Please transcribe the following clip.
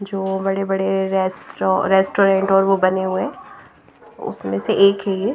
जो बड़े-बड़े restro restaurant और वो बने हुए हैं उसमें से एक है ये --